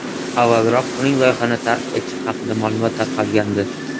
Avvalroq uning loyihani tark etishi haqida ma’lumot tarqalgandi.